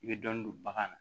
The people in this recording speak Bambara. I bɛ dɔɔnin don bagan na